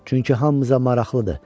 Çünki hamımıza maraqlıdır.